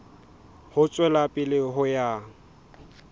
ho tswela pele ho ya